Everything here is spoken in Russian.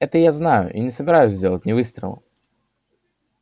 это я знаю и не собираюсь сделать ни выстрела